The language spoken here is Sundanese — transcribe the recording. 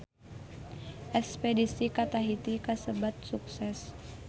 Espedisi ka Tahiti kasebat sukses